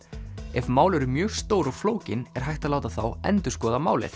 ef mál eru mjög stór og flókin er hægt að láta þá endurskoða málið